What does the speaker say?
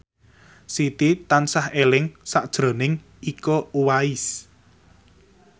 Siti tansah eling sakjroning Iko Uwais